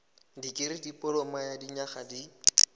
dikirii dipoloma ya dinyaga di